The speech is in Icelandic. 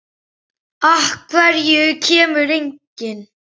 Af hverju kemur enginn?